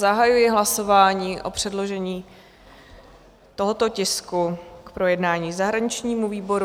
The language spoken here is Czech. Zahajuji hlasování o předložení tohoto tisku k projednání zahraničnímu výboru.